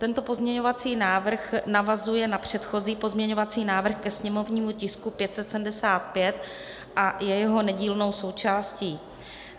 Tento pozměňovací návrh navazuje na předchozí pozměňovací návrh ke sněmovnímu tisku 575 a je jeho nedílnou součástí.